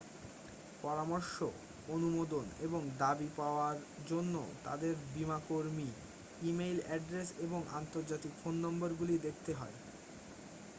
পরামর্শ/অনুমোদন এবং দাবি-দাওয়ার জন্য তাদের বীমাকর্মীর ই-মেইল অ্যাড্রেস এবং আন্তর্জাতিক ফোন নম্বরগুলি দেখাতে হয়।